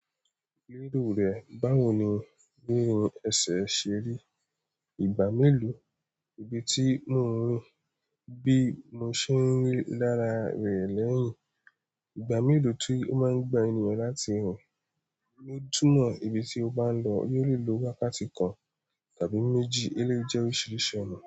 Lílù rẹ̀, báwo ni míì èṣè ṣerí? Ìgbà mélòó, ibi tí mò ń ro bí mo ṣe ń rí lára rẹ̀ lẹ́yìn. Ìgbà mélòó tí ó máa ń gba ènìyàn láti rìn. Ni ó túmọ̀ ibi tí o bá ń lọ yóò lè lo wákàtí kan tàbí méjì eléyìí jẹ́ oríṣiríṣi ọ̀nà.